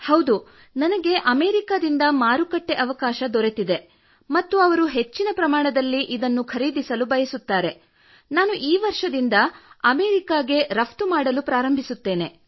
ಹೌದು ನನಗೆ ಅಮೆರಿಕದಿಂದ ಮಾರುಕಟ್ಟೆ ಅವಕಾಶ ದೊರೆತಿದೆ ಮತ್ತು ಅವರು ಹೆಚ್ಚಿನ ಪ್ರಮಾಣದಲ್ಲಿ ಖರೀದಿಸಲು ಬಯಸುತ್ತಾರೆ ನಾನು ಈ ವರ್ಷದಿಂದ ಅಮೆರಿಕಾಗೆ ರಫ್ತು ಮಾಡಲು ಪ್ರಾರಂಭಿಸುವವಳಿದ್ದೇನೆ